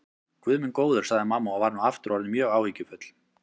Guð minn góður, sagði mamma og var nú aftur orðin mjög áhyggjufull.